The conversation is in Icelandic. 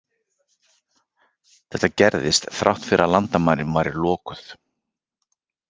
Þetta gerðist þrátt fyrir að landamærin væru lokuð.